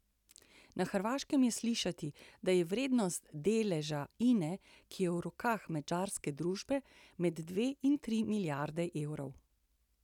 Na Hrvaškem je slišati, da je vrednost deleža Ine, ki je v rokah madžarske družbe, med dve in tri milijarde evrov.